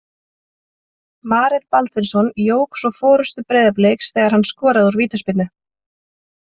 Marel Baldvinsson jók svo forystu Breiðabliks þegar hann skoraði úr vítaspyrnu.